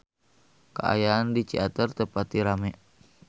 Kaayaan di Ciater teu pati rame